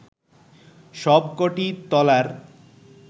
সবক’টি তলার